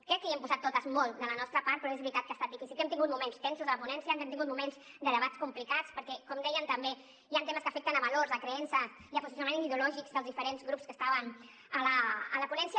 crec que hi hem posat totes molt de la nostra part però és veritat que ha estat difícil que hem tingut moments tensos a la ponència que hem tingut moments de debats complicats perquè com dèiem també hi han temes que afecten valors creences i posicionaments ideològics dels diferents grups que estaven a la ponència